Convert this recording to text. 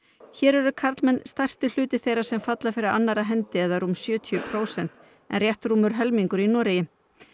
hér eru karlmenn stærsti hluti þeirra sem falla fyrir annarra hendi eða rúm sjötíu prósent en rétt rúmur helmingur í Noregi